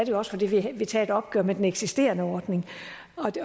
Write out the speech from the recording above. jo også fordi vi vil tage et opgør med den eksisterende ordning